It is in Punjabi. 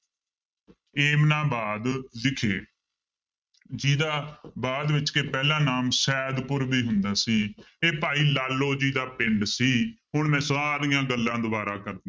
ਏਮਨਾਬਾਦ ਵਿਖੇ ਜਿਹਦਾ ਬਾਅਦ ਵਿੱਚ ਕਿ ਪਹਿਲਾਂ ਨਾਮ ਸਯਦਪੁਰ ਵੀ ਹੁੰਦਾ ਸੀ ਇਹ ਭਾਈ ਲਾਲੋ ਜੀ ਦਾ ਪਿੰਡ ਸੀ, ਹੁਣ ਮੈਂ ਸਾਰੀਆਂ ਗੱਲਾਂ ਦੁਬਾਰਾਂ ਕਰਦਾ।